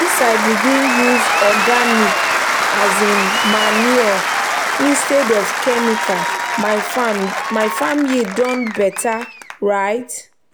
since i begin use organic um manure instead of chemical my farm yield don better. um